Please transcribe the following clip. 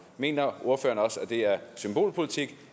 mener ordføreren også at det er symbolpolitik